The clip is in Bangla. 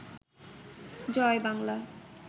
জয় বাংলা